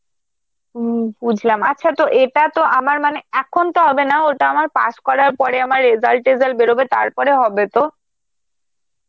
হম বুঝলাম, আচ্ছা তো এটা তো আমার মানে এখন তো হবে না, ওটা আমার pass করার পরে, আমার result তেজাল্ট বেরোবে তারপরে হবে তো?